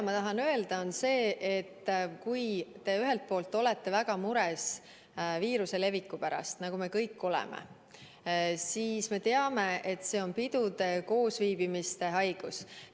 Ma tahan öelda seda, et kui te ühelt poolt olete väga mures viiruse leviku pärast, nagu me kõik oleme, siis me teame, et see on pidude, koosviibimiste haigus.